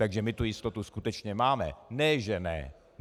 Takže my tu jistotu skutečně máme, ne že ne!